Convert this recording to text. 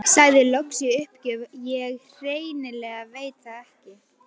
Sagði loks í uppgjöf: Ég hreinlega veit það ekki